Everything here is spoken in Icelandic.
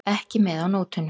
Ekki með á nótunum.